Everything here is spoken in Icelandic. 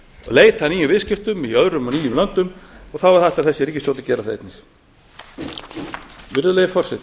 leita að nýjum viðskiptum í öðrum og nýjum löndum og þá ætlar þessi ríkisstjórn að gera það einnig virðulegi forseti